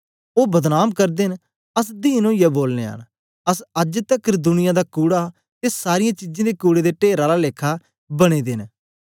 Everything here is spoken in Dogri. ओ बदनाम करदे न अस दीन ओईयै बोलनयां न अस अज्ज तकर दुनिया दा कूड़ा ते सारीयें चीजें दे कूड़े दे टेर आला लेखा बने दे न